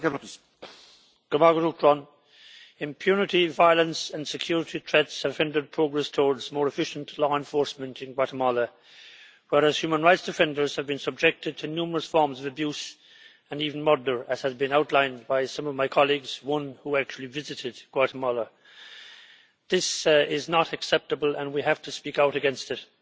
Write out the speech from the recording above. Mr President, impunity, violence and security threats have hindered progress towards more efficient law enforcement in Guatemala, whereas human rights defenders have been subjected to numerous forms of abuse and even murder, as has been outlined by some of my colleagues, one of whom actually visited Guatemala. This is not acceptable, and we have to speak out against it.